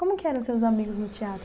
Como que eram os seus amigos no teatro?